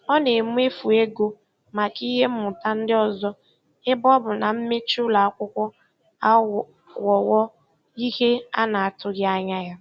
Ọ na-emefu ego maka ihe mmụta ndị ọzọ ebe ọ bụ na mmechi ụlọ akwụkwọ aghọwo ihe a na-atụghị anya ya.